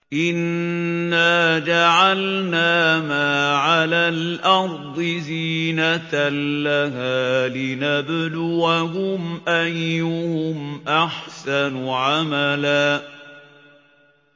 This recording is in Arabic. إِنَّا جَعَلْنَا مَا عَلَى الْأَرْضِ زِينَةً لَّهَا لِنَبْلُوَهُمْ أَيُّهُمْ أَحْسَنُ عَمَلًا